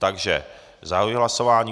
Takže zahajuji hlasování.